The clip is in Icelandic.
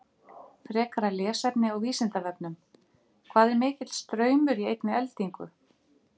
Frekara lesefni á Vísindavefnum: Hvað er mikill straumur í einni eldingu?